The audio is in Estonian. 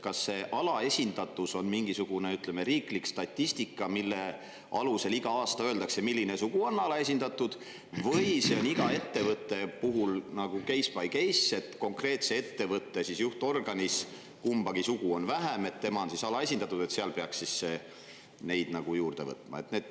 Kas see "alaesindatus" mingisugusest riiklikust statistikast, mille alusel igal aastal öeldakse, milline sugu on alaesindatud, või iga ettevõtte puhul nagu case-by-case: kumba sugu on ettevõtte juhtorganis vähem, see on alaesindatud ja peaks sinna juurde võtma?